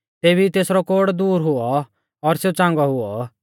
तेभी ई तेसरौ कोढ़ दूर हुऔ और सेऊ च़ांगौ हुऔ